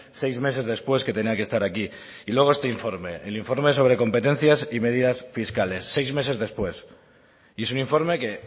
seis meses después que tenía que estar aquí y luego este informe el informe sobre competencias y medidas fiscales seis meses después y es un informe que